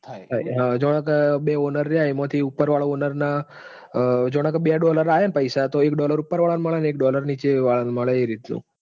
હા જોણે કે બે owner રયા. એમાંથી ઉપરવાળો owner ને જોણે કે બે dollar આયા ન પૈસા તો એક dollar ઉપરવાળં મળે અને એક dollar નીચેવાળા ન મળે એ રીતનું